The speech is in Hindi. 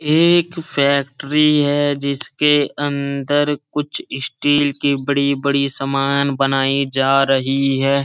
एक फैक्ट्री है जिसके अंदर कुछ स्टील की बड़ी-बड़ी सामान बनाई जा रही है।